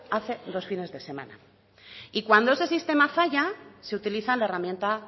hace dos fines de semana y cuando ese sistema falla se utiliza la herramienta